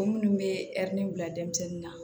Minnu bɛ ɛri bila denmisɛnnin na